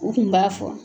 U kun b'a fɔ